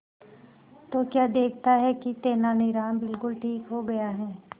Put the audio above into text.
तो क्या देखता है कि तेनालीराम बिल्कुल ठीक हो गया है